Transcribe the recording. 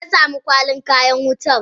Meyasamu Kwalin kayan wuta?